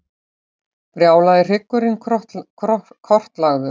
Brjálaði hryggurinn kortlagður